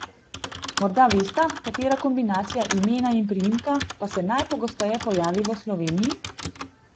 Morda vesta, katera kombinacija imena in priimka pa se najpogosteje pojavi v Sloveniji?